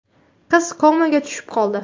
Qiz komaga tushib qoldi.